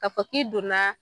Ka fɔ k'i donna